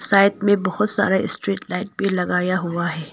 Side में बहुत सारा स्ट्रीट लाइट भी लगाया हुआ है।